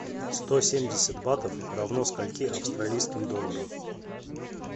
сто семьдесят батов равно скольки австралийским долларам